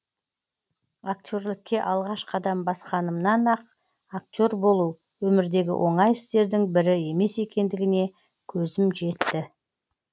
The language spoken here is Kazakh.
актерлікке алғаш қадам басқанымнан ақ актер болу өмірдегі оңай істердің бірі емес екендігіне көзім жетті